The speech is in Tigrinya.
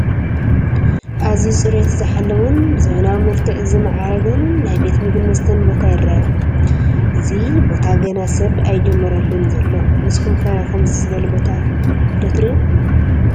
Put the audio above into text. ኣዝዩ ፅሬቱ ዝሓለወን ብዘበናዊ መልክዕ ዝማዕረገን ናይ ቤት ምግብን መስተን ቦታ ይረአ፡፡ እዚ ቦታ ገና ሰብ ኣይጀመረሉን ዘሎ፡፡ ንስኹም ከ ከምዚ ዝበለ ቦታ ዶ ትሪኡ?